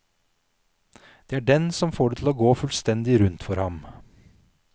Det er den som får det til å gå fullstendig rundt for ham.